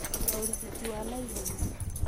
Gũcaria ũrigiti wa na Ihenya